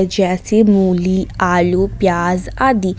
जैसे मूली आलू प्याज आदि।